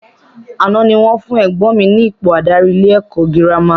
Àná ni wọ́n fún ẹ̀gbọ́n mi ní ipò adarí ilé ẹ̀kọ́ girama